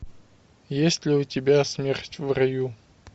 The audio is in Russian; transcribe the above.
есть ли у тебя смерть в раю